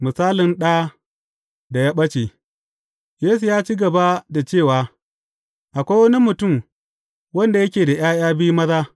Misalin ɗa da ya ɓace Yesu ya ci gaba da cewa, Akwai wani mutum wanda yake da ’ya’ya biyu maza.